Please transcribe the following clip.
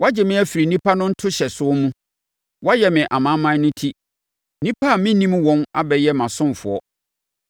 Woagye me afiri nnipa no ntohyɛsoɔ mu, woayɛ me amanaman no ti; nnipa a mennim wɔn abɛyɛ mʼasomfoɔ.